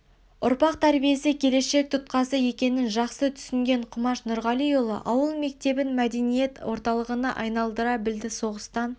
ұрпақ тәрбиесі келешек тұтқасы екенін жақсы түсінген құмаш нұрғалиұлы ауыл мектебін мәдениет орталығына айналдара білді соғыстан